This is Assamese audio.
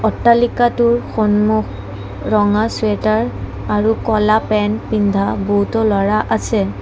অট্টালিকাটোৰ সম্মুখ ৰঙা চুৱেটাৰ আৰু ক'লা পেন্ট পিন্ধা বহুতো ল'ৰা আছে।